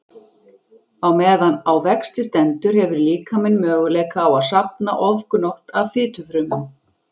Á meðan á vexti stendur hefur líkaminn möguleika á að safna ofgnótt af fitufrumum.